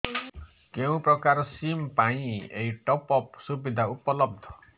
କେଉଁ ପ୍ରକାର ସିମ୍ ପାଇଁ ଏଇ ଟପ୍ଅପ୍ ସୁବିଧା ଉପଲବ୍ଧ